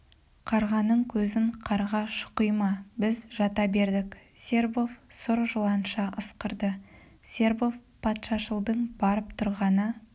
қарғаның көзін қарға шұқи ма біз жата бердік сербов сұр жыланша ысқырды сербов патшашылдың барып тұрғаны